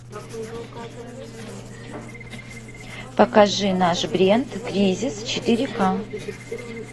покажи наш бренд кризис четыре ка